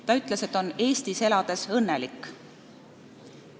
Ta ütles, et on Eestis elades õnnelik.